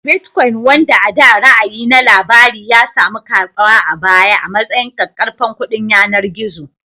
Bitcoin, wanda a da ra'ayi na labari, ya sami karɓuwa a baya a matsayin ƙaƙƙarfan kuɗin yanar gizo